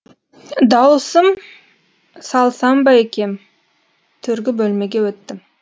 дауысым салсам ба екен төргі бөлмеге өттім